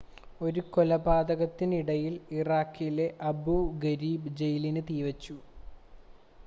ഒരു കലാപത്തിനിടയിൽ ഇറാഖിലെ അബൂ ഗരീബ് ജയിലിന് തീവെച്ചു